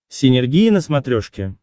синергия на смотрешке